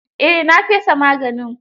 Eh, na fesa maganin.